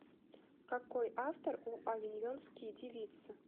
какой автор у авиньонские девицы